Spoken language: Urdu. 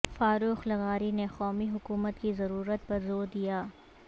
فاروق لغاری نے قومی حکومت کی ضرورت پر زور دیا